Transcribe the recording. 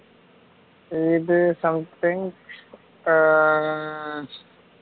இது something ஆஹ்